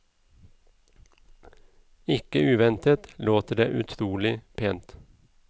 Ikke uventet låter det utrolig pent.